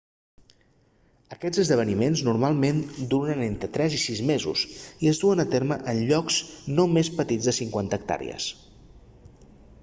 aquests esdeveniments normalment duren entre tres i sis mesos i es duen a terme en llocs no més petits de 50 hectàrees